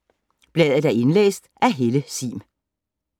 Indlæst af: